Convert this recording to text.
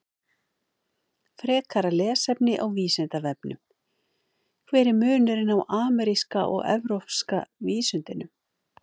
Frekara lesefni á Vísindavefnum: Hver er munurinn á ameríska og evrópska vísundinum?